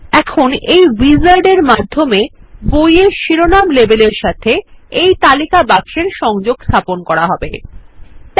এখন এই উইজার্ড - এর মাধ্যমে বইয়ের শিরোনাম লেবেল এর সাথে এই তালিকা বাক্সের সংযোগ স্থাপনে সাহায্য করবে